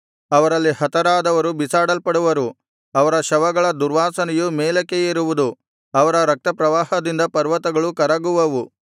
ಅವರಲ್ಲಿ ಹತರಾದವರು ಬಿಸಾಡಲ್ಪಡುವರು ಅವರ ಶವಗಳ ದುರ್ವಾಸನೆಯು ಮೇಲಕ್ಕೆ ಏರುವುದು ಅವರ ರಕ್ತಪ್ರವಾಹದಿಂದ ಪರ್ವತಗಳು ಕರಗುವವು